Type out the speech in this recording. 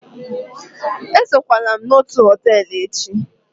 esokwala m na otu họtel echi!